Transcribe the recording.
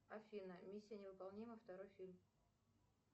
афина миссия невыполнима второй фильм